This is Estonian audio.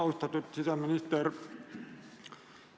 Austatud siseminister!